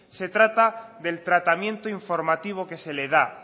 se trata del tratamiento informativo que se le da